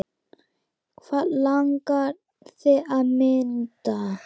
Hvað langar þig að mynda?